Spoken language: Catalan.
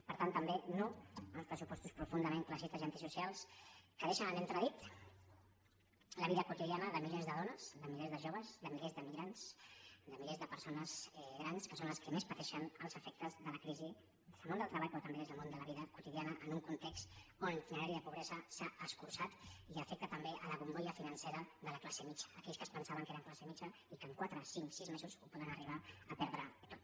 per tant també no a uns pressupostos profundament classistes i antisocials que deixen en entredit la vida quotidiana de milers de dones de milers de joves de milers d’immigrants de milers de persones grans que són les que més pateixen els efectes de la crisi des del món del treball però també des del món de la vida quotidiana en un context on la línia de pobresa s’ha escurçat i afecta també la bombolla financera de la classe mitjana aquells que es pensaven que eren classe mitjana i que en quatre cinc sis mesos poden arribar a perdre ho tot